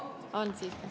On siiski.